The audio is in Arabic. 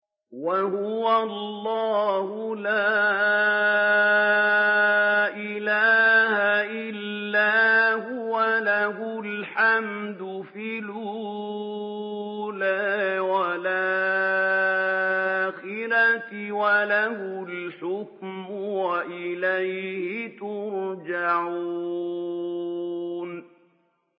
وَهُوَ اللَّهُ لَا إِلَٰهَ إِلَّا هُوَ ۖ لَهُ الْحَمْدُ فِي الْأُولَىٰ وَالْآخِرَةِ ۖ وَلَهُ الْحُكْمُ وَإِلَيْهِ تُرْجَعُونَ